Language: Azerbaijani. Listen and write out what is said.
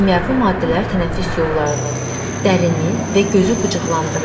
Kimyəvi maddələr tənəffüs yollarını, dərini və gözü qıcıqlandırır.